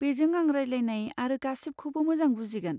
बेजों आं रायज्लायनाय आरो गासिबखौबो मोजां बुजिगोन।